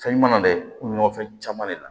Fɛn ɲuman na dɛ kuŋo fɛn caman de la